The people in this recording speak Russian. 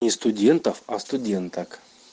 не студентов а студенток